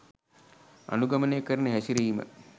අනුගමනය කරන හැසිරිම